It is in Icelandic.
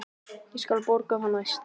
Ég skal borga það næst.